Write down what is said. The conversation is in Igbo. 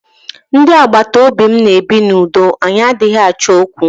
Ndị agbataobi mụ na ebi na udo anyị adịghị Achọ okwu.